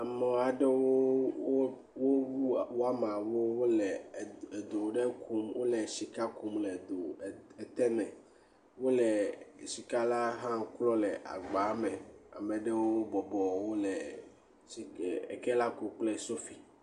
Ame aɖewo wo..wo..wo..wɔ wɔmawo le sika kum le do ɖe me wole sika kum le ke me wole sika la hã klɔm le agba me, ame aɖewo bɔbɔ eke la kum kple sofi.